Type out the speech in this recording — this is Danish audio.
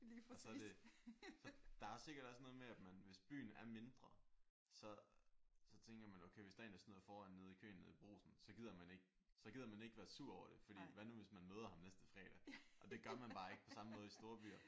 Og så er det der er sikkert også noget med at man hvis byen er mindre så så tænker man okay hvis der er en der snyder foran nede i køen nede brugsen så gider man ikke så gider man ikke være sur over det fordi hvad nu hvis man møder ham næste fredag? Og det gør man bare ikke på samme måde i storbyer